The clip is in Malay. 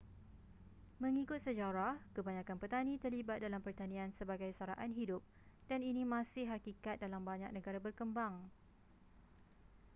mengikut sejarah kebanyakan petani terlibat dalam pertanian sebagai saraan hidup dan ini masih hakikat dalam banyak negara berkembang